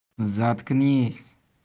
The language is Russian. заткнись